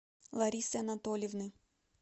ларисы анатольевны